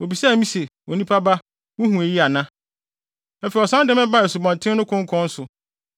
Obisaa me se, “Onipa ba wuhu eyi ana?” Afei ɔsan de me baa asubɔnten no konkɔn so.